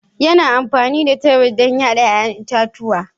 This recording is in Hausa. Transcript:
Yana amfani da tebur don yada 'ya'yan itatuwa.